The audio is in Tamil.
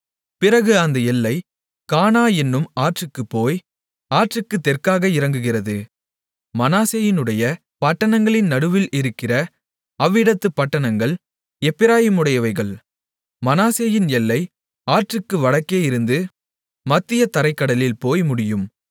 பிறகு அந்த எல்லை கானா என்னும் ஆற்றுக்குப் போய் ஆற்றுக்குத் தெற்காக இறங்குகிறது மனாசேயினுடைய பட்டணங்களின் நடுவில் இருக்கிற அவ்விடத்துப் பட்டணங்கள் எப்பிராயீமுடையவைகள் மனாசேயின் எல்லை ஆற்றுக்கு வடக்கேயிருந்து மத்திய தரைக்கடலில் போய் முடியும்